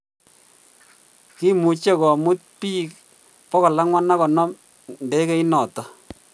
Kiimucge komut pig 450 ndegeinoton